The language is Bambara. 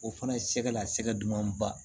O fana ye sɛgɛ la sɛgɛ duman ba